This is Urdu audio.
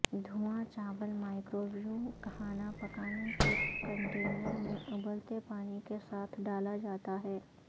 دھواں چاول مائکروویو کھانا پکانے کے کنٹینر میں ابلتے پانی کے ساتھ ڈالا جاتا ہے